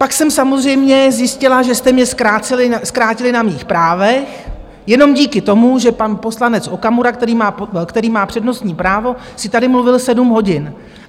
Pak jsem samozřejmě zjistila, že jste mě zkrátili na mých právech jenom díky tomu, že pan poslanec Okamura, který má přednostní právo, si tady mluvil sedm hodin.